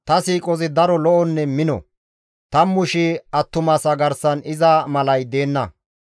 «Ta siiqoy daro lo7onne mino; 10,000 attumasa garsan iza malay deenna.